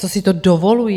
Co si to dovolují?